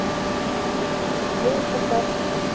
അത് ഇപ്പപ്പാ.